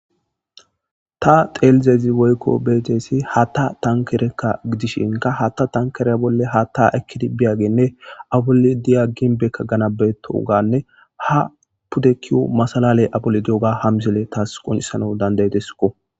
Ta xelidayis woyiko beyidayisi hatta tanikere, hatta tanikereka gidishi aa bolli hata ekidi biyagene ginbeka ganabaetoga ha pude keyo masalaleyi deyiga ha misileyi qoncisanawu dandayidesiko.